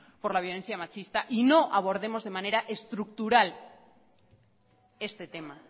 por la violencia machista y no abordemos de manera estructural este tema